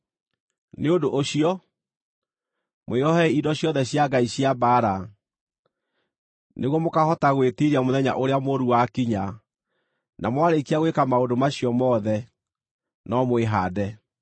Nĩ ũndũ ũcio, mwĩohei indo ciothe cia Ngai cia mbaara, nĩguo mũkaahota gwĩtiiria mũthenya ũrĩa mũũru wakinya, na mwarĩkia gwĩka maũndũ macio mothe, no mwĩhaande.